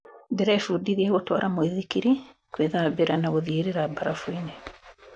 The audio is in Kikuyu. Ndĩrebundithia gũtwara mũithikiri, kwĩthambira na gũthiĩrĩra barafuini